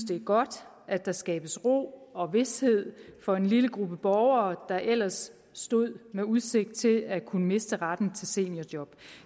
det er godt at der skabes ro og vished for en lille gruppe borgere der ellers stod med udsigt til at kunne miste retten til seniorjob